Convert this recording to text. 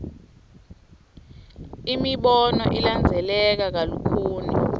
imibono ilandzeleka kalukhuni